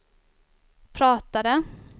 pratade